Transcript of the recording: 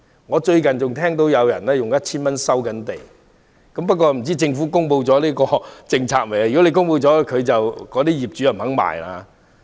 我最近還聽到有人出價每呎 1,000 元收地，不知政府是否已公布最新政策，如果已公布，業主當然不肯賣。